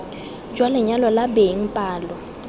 jwa lenyalo la beng palo